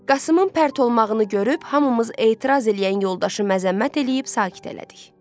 Qasımın pərt olmağını görüb hamımız etiraz eləyən yoldaşı məzəmmət eləyib sakit elədik.